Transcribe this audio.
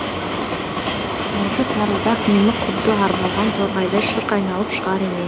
әлгі тарылдақ немі құдды арбалған торғайдай шырқ айналып шығар